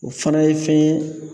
O fana ye fɛn ye